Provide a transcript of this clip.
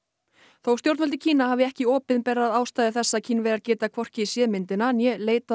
þó stjórnvöld í Kína hafi ekki opinberað ástæður þess að Kínverjar geta hvorki séð myndina né leitað að